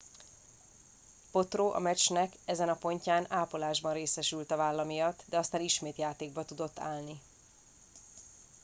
potro a meccsnek ezen a pontján ápolásban részesült a válla miatt de aztán ismét játékba tudott állni